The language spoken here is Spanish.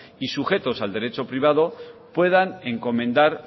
y sujetos al derecho privado puedan encomendar